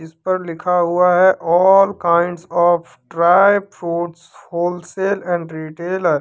इस पर लिखा हुआ है all kinds of dry fruits wholesale and retailer.